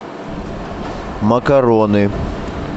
макароны